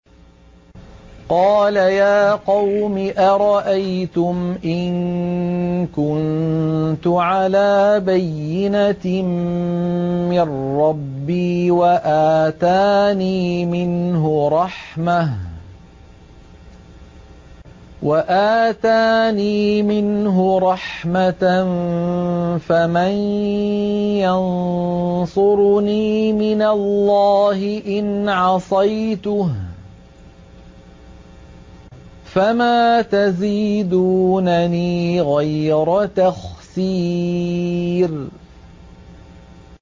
قَالَ يَا قَوْمِ أَرَأَيْتُمْ إِن كُنتُ عَلَىٰ بَيِّنَةٍ مِّن رَّبِّي وَآتَانِي مِنْهُ رَحْمَةً فَمَن يَنصُرُنِي مِنَ اللَّهِ إِنْ عَصَيْتُهُ ۖ فَمَا تَزِيدُونَنِي غَيْرَ تَخْسِيرٍ